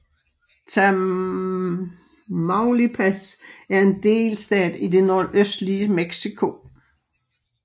Tamaulipas er en delstat i det nordøstlige Mexico